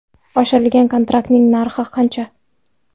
Oshirilgan kontraktning narxi qancha?